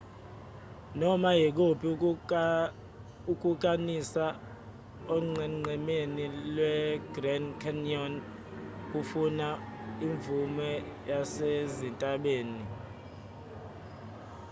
noma ikuphi ukukanisa onqenqemeni lwegrand canyon kufuna imvume yasezintabeni